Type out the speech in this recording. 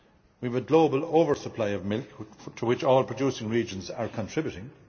we have a global oversupply of milk, to which all producing regions are contributing